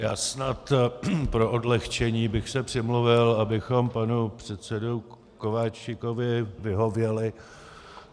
Já snad pro odlehčení bych se přimluvil, abychom panu předsedovi Kováčikovi vyhověli.